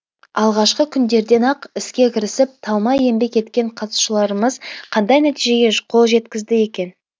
алғашқы күндерден ақ іске кірісіп талмай еңбек еткен қатысушаларымыз қандай нәтижеге қол жеткізді екен